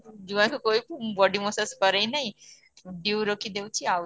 ଜୁଆଇଁ କୁ କହିବୁ ମୁଁ body massage କରେଇନାହିଁ due ରଖିଦେଉଛି ଆଉ